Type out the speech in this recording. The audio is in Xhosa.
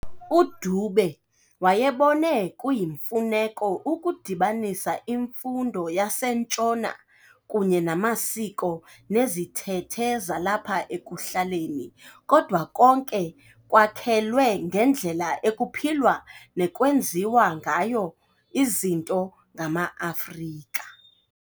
UDube wayebone kuyimfuneko ukudibanisa imfundo yaseNtshona kunye namasiko nezithethe zalapha ekuhlaleni, kodwa konke kwakhelwe ngendlela ekuphilwa nekwenziwa ngayo izinto ngama-Afrika.